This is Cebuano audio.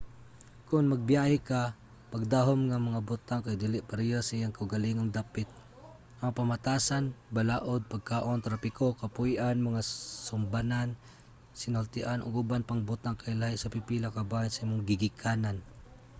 kon magbiyahe ka pagdahom nga mga butang kay dili pareho sa inyong kaugalingong dapit". ang pamatasan balaod pagkaon trapiko kapuy-an mga sumbanan sinultian ug uban pang butang kay lahi sa pipila ka bahin sa imong gigikanan